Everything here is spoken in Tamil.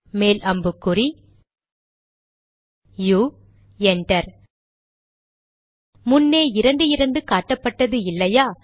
மேல் அம்புக்குறி யு என்டர் முன்னே இரண்டு இரண்டு காட்டப்பட்டது இல்லையா